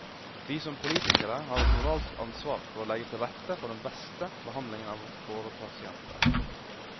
Vi som politikere har et moralsk ansvar for å legge til rette for den beste behandlingen av våre pasienter.